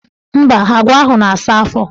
Mba, agwa ahụ na-asa afọ.